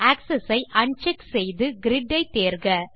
access ஐ uncheck செய்து grid ஐ தேர்க